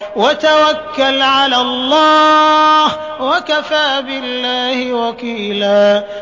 وَتَوَكَّلْ عَلَى اللَّهِ ۚ وَكَفَىٰ بِاللَّهِ وَكِيلًا